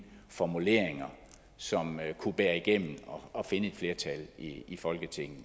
formuleringer som kunne bære igennem og finde et flertal i folketinget